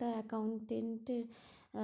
তা accountant এর